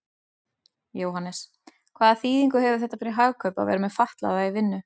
Jóhannes: Hvaða þýðingu hefur þetta fyrir Hagkaup að vera með fatlaða í vinnu?